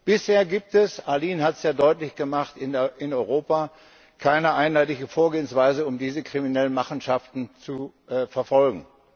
Bisher gibt es Arlene hat es ja deutlich gemacht in Europa keine einheitliche Vorgehensweise, um diese kriminellen Machenschaften zu verfolgen.